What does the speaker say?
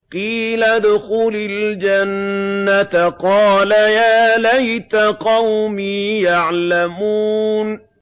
قِيلَ ادْخُلِ الْجَنَّةَ ۖ قَالَ يَا لَيْتَ قَوْمِي يَعْلَمُونَ